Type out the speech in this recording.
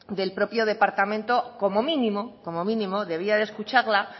departamento como mínimo debía de escucharla